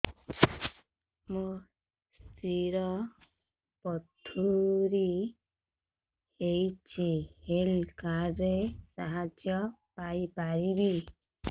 ମୋ ସ୍ତ୍ରୀ ର ପଥୁରୀ ହେଇଚି ହେଲ୍ଥ କାର୍ଡ ର ସାହାଯ୍ୟ ପାଇପାରିବି